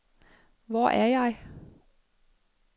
Hvor er jeg